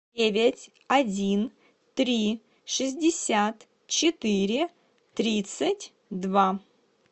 девять один три шестьдесят четыре тридцать два